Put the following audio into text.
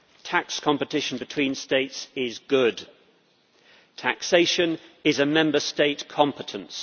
Tax competition between states is good. Taxation is a Member State competence